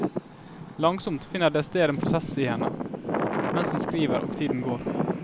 Langsomt finner det sted en prosess i henne, mens hun skriver og tiden går.